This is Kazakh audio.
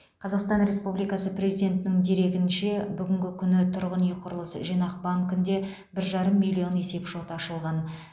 қазақстан республикасы президентінің дерегінше бүгінгі күні тұрғын үй құрылыс жинақ банкінде бір жарым миллион есепшот ашылған